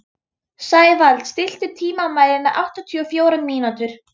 Sævald, stilltu tímamælinn á áttatíu og fjórar mínútur.